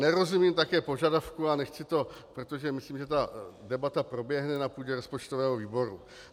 Nerozumím také požadavku a nechci to, protože myslím, že tato debata proběhne na půdě rozpočtového výboru...